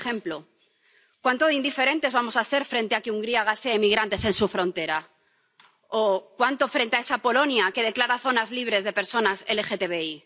Por ejemplo, cuánto de indiferentes vamos a ser frente a que Hungría gasee a migrantes en su frontera, o cuánto frente a esa Polonia que declara zonas libres de personas LGTBI.